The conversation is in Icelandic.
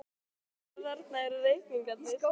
Erla: Þannig að þarna eru reikningarnir?